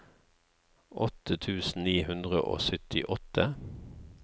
åtte tusen ni hundre og syttiåtte